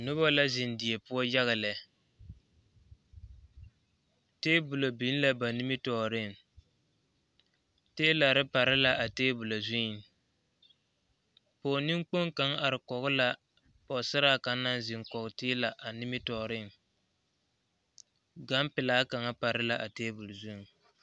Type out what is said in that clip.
Noba la zeŋ die poɔ yaga lɛ, teebolo biŋ la ba nimitɔɔreŋ, teelare pare la a teebolo zuŋ, pɔge neŋkpoŋ kaŋa are kɔge la pɔgesaraa kaŋa naŋ zeŋ kɔge teela a nimitɔɔreŋ, gampelaa kaŋa pare la a teebol zuŋ.